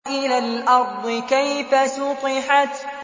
وَإِلَى الْأَرْضِ كَيْفَ سُطِحَتْ